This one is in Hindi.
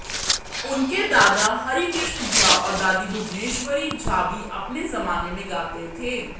उनके दादा हरी कृष्ण झा और दादी भुवनेश्वरी झा भी अपने जमाने में गाते थे